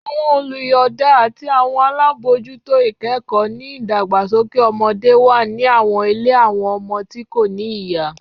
Awọn oluyọọda ati awọn alabojuto ikẹkọ ni idagbasoke ọmọde wa ni awọn ile awọn ọmọ ti ko ni iya